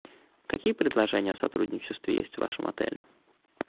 какие предложения о сотрудничестве есть в вашем отеле